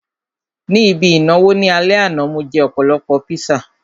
Ní ibi ìnáwó ní alẹ́ àná, mo jẹ́ ọ̀pọ̀lọpọ̀ píṣà